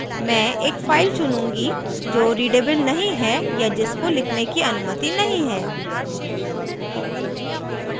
मैं एक फाइल चुनूँगी जो readable नहीं है या जिसको लिखने की अनुमति नहीं है